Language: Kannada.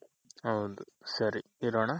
ಹೌದು ಸರಿ ಇಡೋಣ .